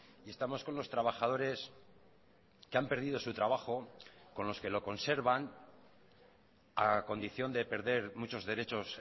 y estamos con los trabajadores que han perdido su trabajo con los que lo conservan a condición de perder muchos derechos